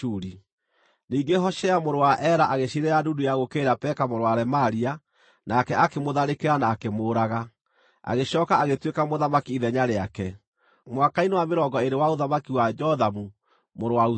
Ningĩ Hoshea mũrũ wa Ela agĩciirĩra ndundu ya gũũkĩrĩra Peka mũrũ wa Remalia. Nake akĩmũtharĩkĩra na akĩmũũraga, agĩcooka agĩtuĩka mũthamaki ithenya rĩake, mwaka-inĩ wa mĩrongo ĩĩrĩ wa ũthamaki wa Jothamu mũrũ wa Uzia.